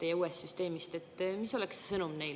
Ei ole 0, tal on 22%, ainult et tulumaksuvabastus on 70%.